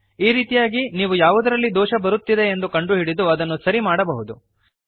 ಈ ರೀತಿಯಾಗಿ ನೀವು ಯಾವುದರಲ್ಲಿ ದೋಷ ಬರುತ್ತಿದೆ ಎಂದು ಕಂಡುಹಿಡಿದು ಅದನ್ನು ಸರಿ ಮಾಡಬಹುದು